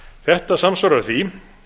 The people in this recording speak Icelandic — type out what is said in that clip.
þetta samsvarar því